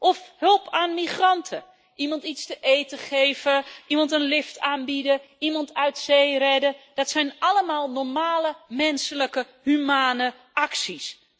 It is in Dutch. Of hulp aan migranten, iemand iets te eten geven, iemand een lift aanbieden, iemand uit zee redden, dat zijn allemaal normale, menselijke, humane acties.